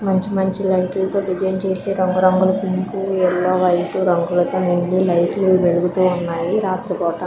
మంచి మంచి లైట్ లతో డిజైన్ చేసి రంగురంగుల పింకు ఎల్లో వైట్ రంగులతో ముందు లైట్ లు వెలుగుతూ ఉన్నాయి. రాత్రి దాకా--